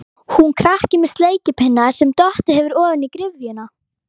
Hún krakki með sleikipinna sem dottið hefur ofan í gryfjuna.